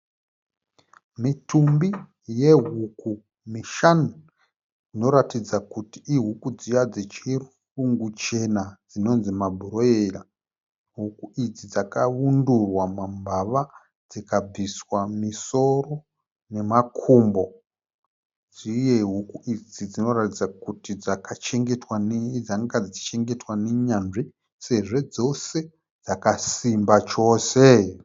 Mitumbi yehuku mishanu. Inoratidza kuti ihuku dziya dzechirungu chena dzinonzi mabhuroira. Huku idzi dzakaundurwa mambava dzikabviswa misoro nemakumbo. Uye huku idzi dzinoratidza kuti dzanga dzichichengetwa nenyanzvi sezvo dzose dzakasimba chose.